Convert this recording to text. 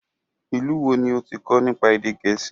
Ìlú wo ni ó ti kọ nípa èdè gẹ̀ẹ́sì?